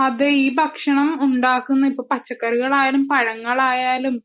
അതെ ഈ ഭക്ഷണം ഉണ്ടാക്കുന്ന അത് പച്ചക്കറികളായാലും പഴങ്ങളായാലും